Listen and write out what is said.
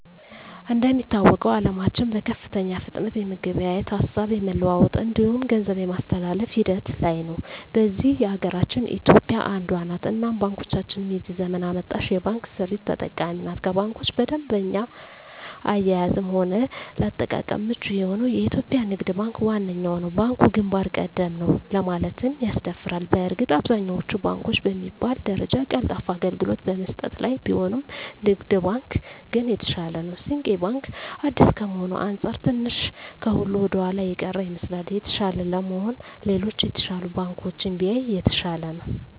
እንደሚታወቀዉ አለማችን በከፍተኛ ፍጥነት የመገበያየት፣ ሀሳብ የመለዋወጥ እንዲሁም ገንዘብ የማስተላፍ ሂደት ላይ ነዉ። በዚህ ሀገራችን ኢትዮጵያ አንዷ ነት እናም ባንኮቻችንም የዚህ ዘመን አመጣሽ የባንክ ስርት ተጠቃሚ ናት ከባንኮች በደንበኛ አያያዝም ሆነ ለአጠቃቀም ምቹ የሆነዉ የኢትዮጵያ ንግድ ባንክ ዋነኛዉ ነዉ። ባንኩ ግንባር ቀደም ነዉ ለማለትም ያስደፍራል በእርግጥ አብዛኛወቹ ባንኮች በሚባል ደረጃ ቀልጣፋ አገልግሎት በመስጠት ላይ ቢሆኑም ንግድ ባንክ ግን የተሻለ ነዉ። ስንቄ ባንክ አዲስ ከመሆኑ አንፃር ትንሽ ከሁሉ ወደኋላ የቀረ ይመስላል። የተሻለ ለመሆን ሌሎች የተሻሉ ባንኮችን ቢያይ የተሻለ ነዉ።